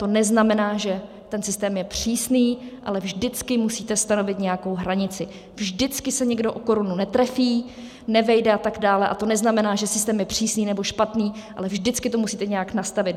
To neznamená, že ten systém je přísný, ale vždycky musíte stanovit nějakou hranici, vždycky se někdo o korunu netrefí, nevejde a tak dále, a to neznamená, že systém je přísný nebo špatný, ale vždycky to musíte nějak nastavit.